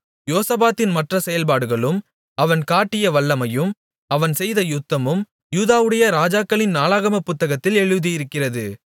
யோசபாத்தின் மற்ற செயல்பாடுகளும் அவன் காட்டிய வல்லமையும் அவன் செய்த யுத்தமும் யூதாவுடைய ராஜாக்களின் நாளாகமப் புத்தகத்தில் எழுதியிருக்கிறது